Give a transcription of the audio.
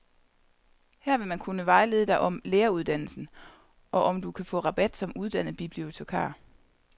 Her vil man kunne vejlede dig om læreruddannelsen, og om du kan få rabat som uddannet bibliotekar.